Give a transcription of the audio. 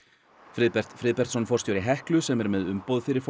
Friðbert Friðbertsson forstjóri Heklu sem er með umboð fyrir